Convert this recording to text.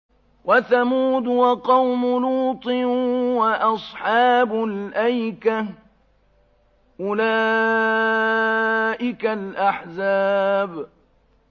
وَثَمُودُ وَقَوْمُ لُوطٍ وَأَصْحَابُ الْأَيْكَةِ ۚ أُولَٰئِكَ الْأَحْزَابُ